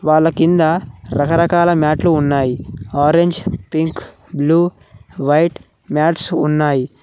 వాళ్లకింద రకరకాల మ్యాట్లు ఉన్నాయి orange pink blue white mats ఉన్నాయి.